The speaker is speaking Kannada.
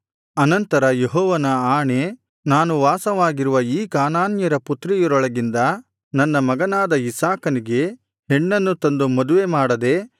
ಅನಂತರ ಯೆಹೋವನ ಆಣೆ ನಾನು ವಾಸವಾಗಿರುವ ಈ ಕಾನಾನ್ಯರ ಪುತ್ರಿಯರೊಳಗಿಂದ ನನ್ನ ಮಗನಾದ ಇಸಾಕನಿಗೆ ಹೆಣ್ಣನ್ನು ತಂದು ಮದುವೆ ಮಾಡದೆ